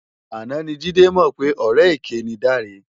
Áná ni Jide mò pè òrè ëké ni Dare